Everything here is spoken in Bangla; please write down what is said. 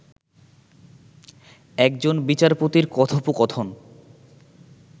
একজন বিচারপতির কথোপকথন